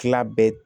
Tila bɛɛ